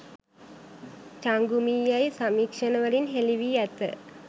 චංගුමී යැයි සමීක්ෂණවලින් හෙළි වී ඇත.